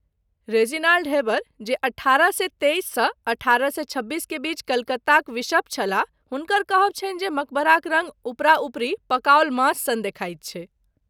Reginald Heber, जे अठारह सए तेइस सँ अठारह सए छब्बीस के बीच कलकत्ताक बिशप छलाह, हुनकर कहब छनि जे मकबराक रङ्ग उपरा उपरी पकाओल मांस सन देखाइत छै।